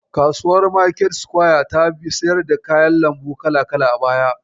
Kasuwar market square ta siyar da kayan lambu kala-kala a baya.